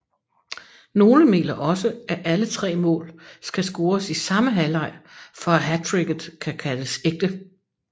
Nogle mener også at alle tre mål skal scores i samme halvleg for at hattricket kan kaldes ægte